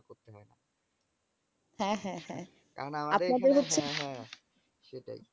হ্যাঁ হ্যাঁ হ্যাঁ। আপনাদের হচ্ছে